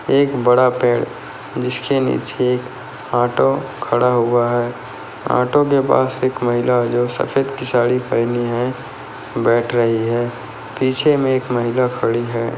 एक बड़ा पेड़ जिसके नीचे एक आटो खड़ा हुआ है आटो के पास एक महिला है जो सफ़ेद की साड़ी पहनी है। बैठ रही है पीछे मे एक महिला खड़ी है।